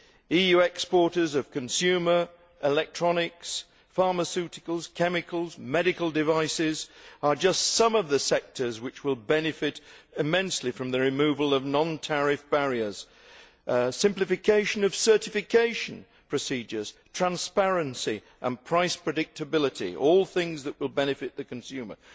EU exporters of consumer goods, electronics, pharmaceuticals, chemicals and medical devices are just some of the sectors which will benefit immensely from the removal of non tariff barriers. Simplification of certification procedures, transparency and price predictability are all things that will benefit the consumer.